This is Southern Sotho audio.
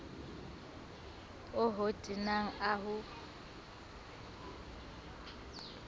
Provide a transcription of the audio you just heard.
o ho tenang a ho